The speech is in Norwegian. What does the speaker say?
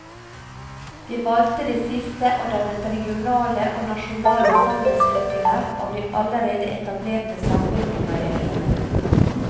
De valgte det siste og dannet regionale og nasjonale sammenslutninger av de allerede etablerte samvirkemeieriene.